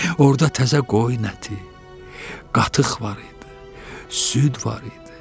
Orda təzə qoyun əti, qatıq var idi, süd var idi.